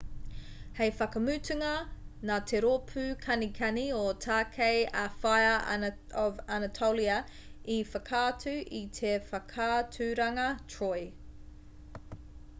hei whakamutunga nā te rōpū kanikani o tākei a fire of anatolia i whakaatu i te whakaaturanga troy